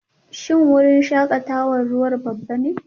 Shin wurin shakatawar ruwa babba ne?